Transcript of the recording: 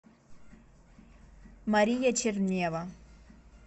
мария чернева